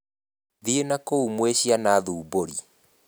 Thiĩ nakũu mwĩ ciana thumbũri.